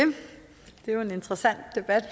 det er jo en interessant debat